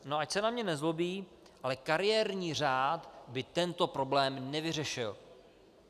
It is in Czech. No ať se na mě nezlobí, ale kariérní řád by tento problém nevyřešil.